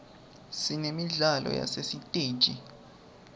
sinemidlalo yasesiteji